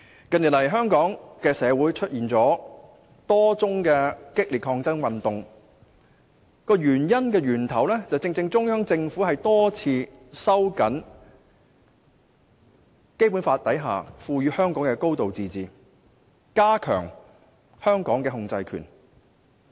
近年來，香港社會出現多宗激烈的抗爭運動，原因正正在於中央政府多次收緊《基本法》所賦予香港的高度自治權，並加強對香港的控制權。